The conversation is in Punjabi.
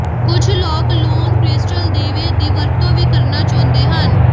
ਕੁਝ ਲੋਕ ਲੂਣ ਕ੍ਰਿਸਟਲ ਦੀਵੇ ਦੀ ਵਰਤੋਂ ਵੀ ਕਰਨਾ ਚਾਹੁੰਦੇ ਹਨ